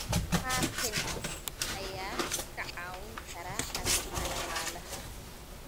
Patents ayaa kaa caawin kara arrimaha dhaqaalaha.